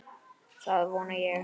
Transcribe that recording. Það vona ég